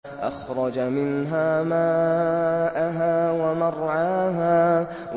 أَخْرَجَ مِنْهَا مَاءَهَا وَمَرْعَاهَا